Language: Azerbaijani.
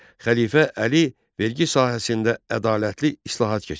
Xəlifə Əli vergi sahəsində ədalətli islahat keçirdi.